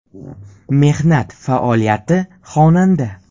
Mehnat faoliyati: Xonanda.